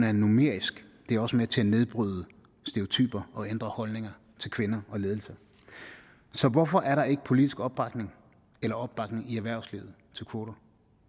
er numerisk det er også med til at nedbryde stereotyper og ændre holdninger til kvinder og ledelse så hvorfor er der ikke politisk opbakning eller opbakning i erhvervslivet til kvoter